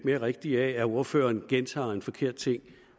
mere rigtigt af at ordføreren gentager en forkert ting